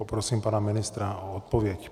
Poprosím pana ministra o odpověď.